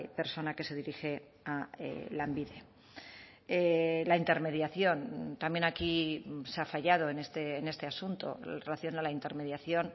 persona que se dirige a lanbide la intermediación también aquí se ha fallado en este asunto en relación a la intermediación